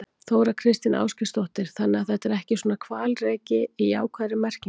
Þóra Kristín Ásgeirsdóttir: Þannig að þetta er ekki svona hvalreki í jákvæðri merkingu?